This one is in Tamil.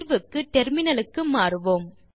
தீர்வுக்கு டெர்மினலுக்கு மாறுவோம்